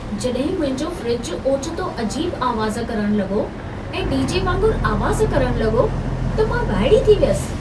जड॒हिं मुंहिंजो फ़्रिजु ओचितो अजीब आवाज़ु करण लॻो ऐं डी.जे. वागुंरु आवाज़ करण लॻो, त मां वाइड़ी थी वियसि।